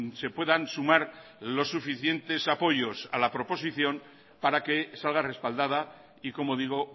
se puedan sumar los suficientes apoyos a la proposición para que salga respaldada y como digo